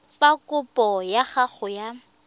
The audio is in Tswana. fa kopo ya gago ya